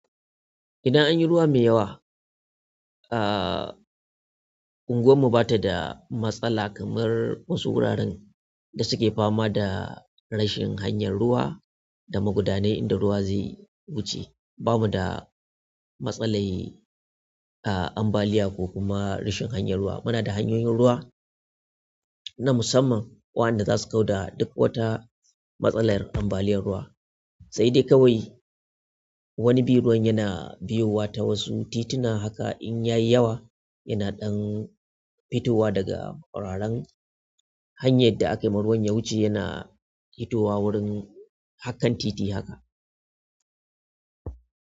Idan an yi ruwa mai yawa, ah unguwarmu ba ta da matsala kamar wasu wuraren da suke fama da rashin hanyar ruwa da magudanai inda ruwa zai wuce. Bamu da matsalar ah, ambaliya kokuma rashin hanyar ruwa. Muna da hanyoyin ruwa na musamman waɗanda za su kawda duk wata matsalar ambaliyar ruwa. Sai dai kawai wani bi ruwan yana biyo wa ta wasu tituna haka in ya yi yawa yana ɗan fitowa daga wuraren hanyar da aka yi ma ruwan ya wuce yana fitowa wurin harkan titi haka.